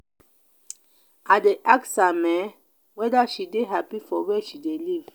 i dey ask am um weda she dey hapi for where she dey live.